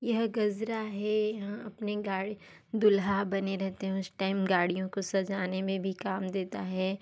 यह गज़रा है यहाँ अपने गाड़ी दूल्हा बने रहते हैं उस टाइम गाड़ियों को सजाने में भी काम देता है।